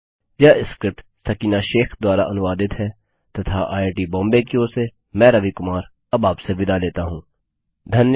यह स्क्रिप्ट सकीना शेख द्वारा अनुवादित है तथा आईआई टी बॉम्बे की ओर से मैं रवि कुमार अब आपसे विदा लेता हूँ धन्यवाद